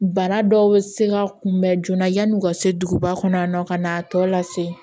Bana dɔw bɛ se ka kunbɛn joona yann'u ka se duguba kɔnɔ yan nɔ ka n'a tɔ lase